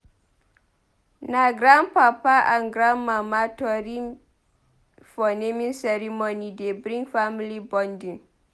Na grandpapa and grandmama tori for naming ceremony dey bring family bonding.